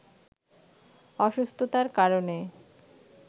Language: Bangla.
অসুস্থতার কারণে